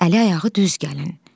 Əli ayağı düz gəlin.